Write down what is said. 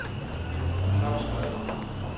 Claus Vad